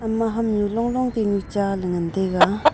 ama hamnu long long tainu cha ley ngantaiga.